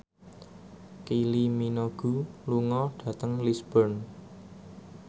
Kylie Minogue lunga dhateng Lisburn